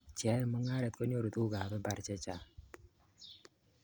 cheae mungaret konyoru tuguk ab mbar chechang